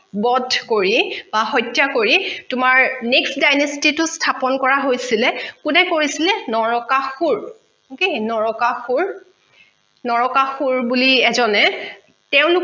বধ কৰি বা সত্যা কৰি তোমাৰ next dynasty তো স্থাপন কৰা হৈছিলে কোনে কৰিছিলে নৰকাসূৰ কি নৰকাসূৰ নৰকাসূৰ বুলি এজনে তেওঁলোকৰ